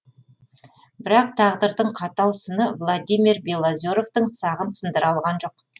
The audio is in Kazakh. бірақ тағдырдың қатал сыны владимир белозеровтың сағын сындыра алған жоқ